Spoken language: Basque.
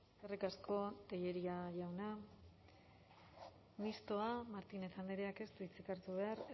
eskerrik asko tellería jauna mistoa martínez andreak ez du hitzik hartu behar